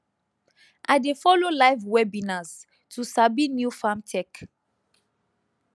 i dey follow live webinars to sabi new farm tech